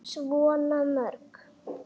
Svo mörgu.